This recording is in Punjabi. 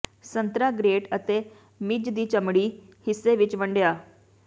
ਸੰਤਰਾ ਗਰੇਟ ਅਤੇ ਮਿੱਝ ਦੀ ਚਮੜੀ ਹਿੱਸੇ ਵਿੱਚ ਵੰਡਿਆ